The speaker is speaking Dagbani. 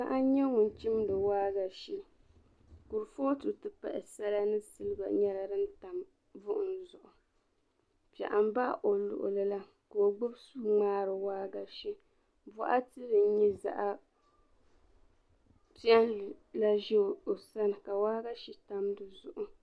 Paɣa n-nyɛ ŋun chimdi waagashe. Kurifootu nti pahi sala ni siliba nyɛla din tam buɣim zuɣu. Piɛɣu m-baɣi o luɣili la ka o gbibi sua ŋmaari waagashe. Bɔɣiti din nyɛ zaɣ' piɛlli la za o sani ka waagashe tam di zuɣu.